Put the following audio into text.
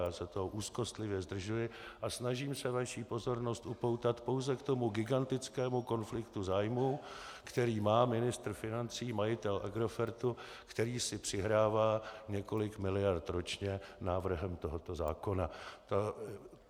Já se toho úzkostlivě zdržuji a snažím se vaši pozornost upoutat pouze k tomu gigantickému konfliktu zájmů, který má ministr financí, majitel Agrofertu, který si přihrává několik miliard ročně návrhem tohoto zákona.